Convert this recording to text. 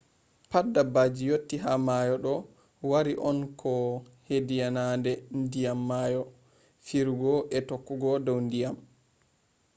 pat dabbaji yotti ha mayo do wari on ko hediyiinadee diyam mayo firugo e tokkugo dow diyam